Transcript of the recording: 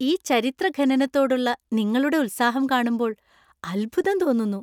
ഈ ചരിത്ര ഖനനത്തോടുള്ള നിങ്ങളുടെ ഉത്സാഹം കാണുമ്പോൾ അത്ഭുതം തോന്നുന്നു!